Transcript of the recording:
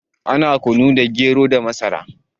Ana kunu ne daga gero da masara